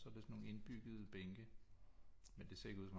Og så er det sådan nogle indbyggede bænke men det ser ikke ud som